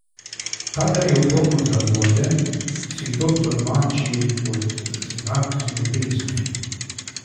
Kadar jo komu zagodem, si to tolmači kot znak ljubezni.